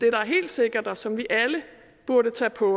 er helt sikkert og som vi alle burde tage på